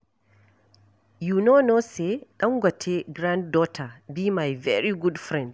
You no know say Dangote granddaughter be my very good friend